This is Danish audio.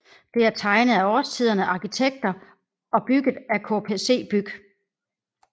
Det er tegnet af Årstiderne arkitekter og bygget af KPC BYG